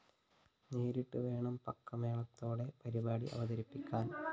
നേരിട്ട്‌ വേണം പക്കമേളത്തോടെ പരിപാടി അവതരിപ്പിക്കാന്‍